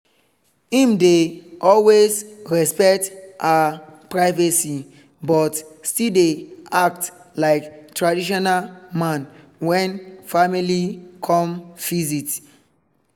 im dey always respect her privacy but still dey act like traditional man when family come visit